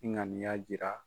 N ŋaniya jira.